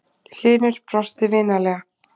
Hlynur brosti vinalega.